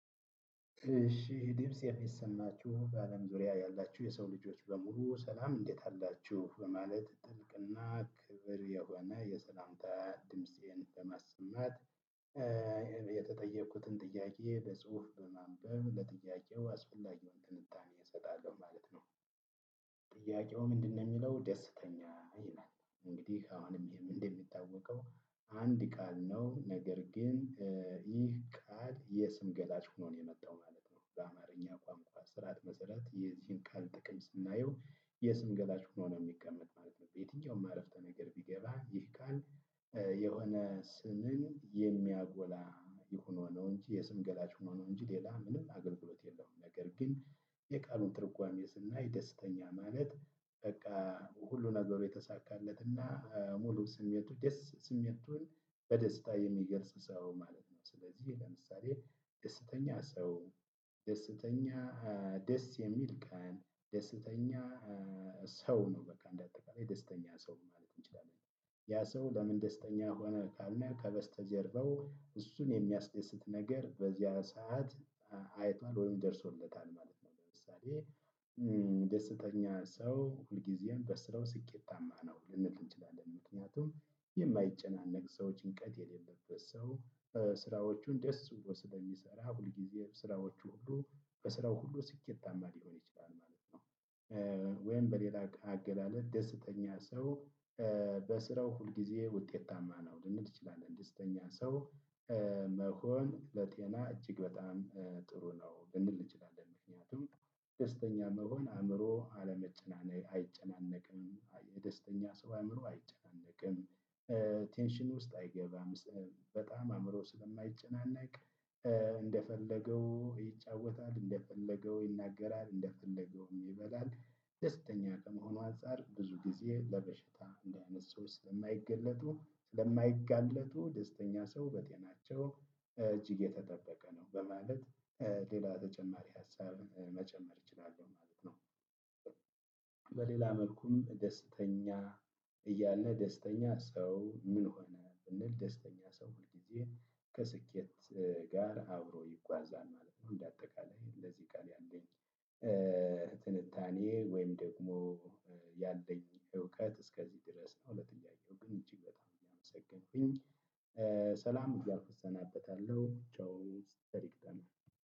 እሺ ድምጽ የሚሰማችሁ በአለም ዙሪያ ያላችሁ የሰው ልጆች በሙሉ ሰላም እንዴት አላችሁ በማለት ጥልቅ እና ክብር የሆነ የሰላምታ ድምፄን ለማሰማት እኔ የተጠየቅኩትን ጥያቄ በጽሁፍ በማንበብ ለጥያቄው አስፈላጊውን ትንታኔ እሰጣለሁ ማለት ነው። ጥያቄው ምንድነው ሚለው ደስተኛ ይላል? እንግዲህ አሁንም ይሄም እንደሚታወቀው አንድ ቃል ነው ነገር ግን። ይህ ቃል የስም ገላጭ ሆኖ ነው የመጣው ማለት ነው። በአማርኛ ቋንቋ ስርዓት መሰረት የዚህን ቃል ጥቅም ስናየው የስም ገላጭ ሆኖ ነው ሚቀመጥ ማለት ነው። በየትኛውም አረፍተነገር ቢገባ ይህ ቃል የሆነ ስምን የሚያጎላ የሁኖ ነው እንጂ የስም ገላጅ ሁኖ ነው እንጂ ሌላ ምንም አገልግሎት የለውም። ነገር ግን የቃሉን ትርጓሜ ስናይ ደስተኛ ማለት በቃ ሁሉ ነገሩ የተሳካለት እና ሙሉ ስሜቱ ደስ ስሜቱን በደስታ የሚገልጽ ሰው ማለት ነው። ስለዚህ ለምሳሌ ደስተኛ ሰው ደስተኛ ደስ የሚል ቀን ደስተኛ ሰው ነው በቃ እንደ አጠቃላይ ደስተኛ ሰው ማለት እንችላለን። ያ ሰው ለምን ደስተኛ ሆነ ካልን ከበስተጀርባው እሱን የሚያስደስት ነገር በዚያ ሰዓት አ አይቷል ወይም ደርሶበታል ማለት ነው። ለምሳሌ ደስተኛ ሰው ሁልጊዜም በስራው ስኬታማ ነው ልንል እንችላለን ምክንያቱም የማይጨናነቅ ሰው ጭንቀት የሌለበት ሰው ስራዎቹን ደስ ብሎ ስለሚሰራ ሁልጊዜ ስራዎቹ ሁሉ በስራው ሁሉ ስኬታማ ሊሆን ይችላል ማለት ነው። ወይም በሌላ አገ አገላለጽ ደስተኛ ሰው በስራው ሁልጊዜ ውጤታማ ነው ልንል እንችላለን። ደስተኛ ሰው መሆን ለጤና እጅግ በጣም ጥሩ ነው ልንል እንችላለን። ምክንያቱም ደስተኛ መሆን አእምሮ አለመጨናነ አይጨናነቅም አይ የደስተኛ ሰው አእምሮ አይጨናነቅም። ቴንሽን ውስጥ አይገባም። በጣም አእምሮ ስለማይጨናነቅ። እንደፈለገው ይጫወታል እንደፈለገው ይናገራል እንደፈለገውም ይበላል ደስተኛ ከመሆኑ አንፃር ብዙ ጊዜ ለበሽታ እንዲህ አይነት ሰዎች ስለማይገለጡ ስለማይጋለጡ ደስተኛ ሰው በጤናቸው እጅግ የተጠበቀ ነው። በማለት ሌላ ተጨማሪ ሀሳብ መጨመር እችላለሁ ማለት ነው። በሌላ መልኩም ደስተኛ እያለ ደስተኛ ሰው ምን ሆነ ብንል ደስተኛ ሰው ሁልጊዜ ከስኬት ጋር አብሮ ይጓዛል ማለት ነው። እንደ አጠቃላይ ለዚህ ቃል ያለኝ ትንታኔ ወይም ደግሞ ያለኝ እውቀት እስከዚህ ድረስ ነው። ለጥያቄው ግን እጅግ በጣም እያመሰገንኩኝ ሰላም እያልኩ እሰናበታለሁ። ቻው ቸር ይግጠመን።